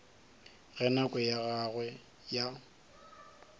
ge nako ya gagwe ya